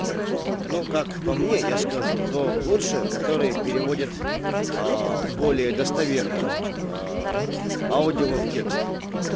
ну как по мне я скажу то лучше который переводит более достоверно аудио в текст